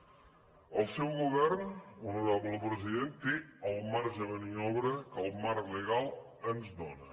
el seu govern honorable president té el marge de maniobra que el marc legal ens dóna